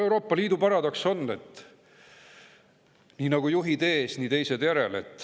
Euroopa Liidu paradoks on, et nii nagu juhid ees, nii teised järel.